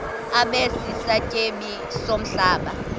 abe sisityebi somhlaba